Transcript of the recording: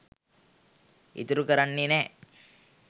ඉතුරු කරන්නේ නෑ